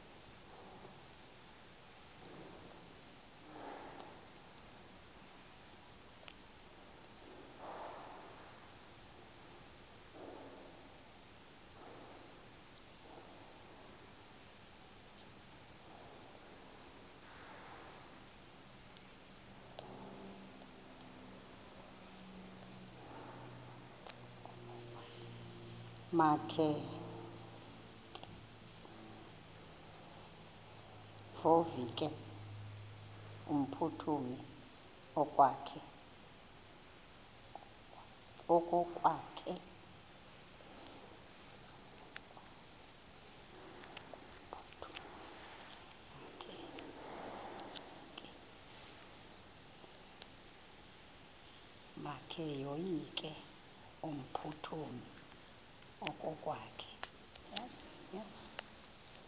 makevovike kumphuthumi okokwakhe